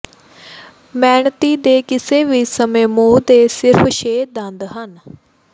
ਮੈਨਤੀ ਦੇ ਕਿਸੇ ਵੀ ਸਮੇਂ ਮੂੰਹ ਦੇ ਸਿਰਫ਼ ਛੇ ਦੰਦ ਹਨ